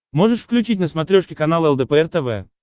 можешь включить на смотрешке канал лдпр тв